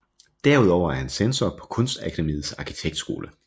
Derudover er han censor på Kunstakademiets Arkitektskole